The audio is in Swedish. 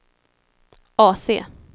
AC